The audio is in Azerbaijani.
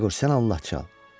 Yeqor, sən Allah çal.